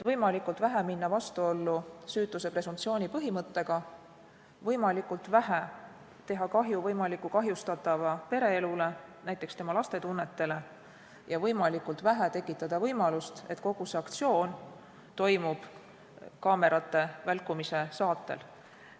Võimalikult vähe tuleks minna vastuollu süütuse presumptsiooni põhimõttega, võimalikult vähe tuleks teha kahju kahtlustatava pereelule, näiteks tema laste tunnetele, ja võimalikult vähe tuleks tekitada võimalust, et kogu see aktsioon toimub kaamerate välkumise saatel.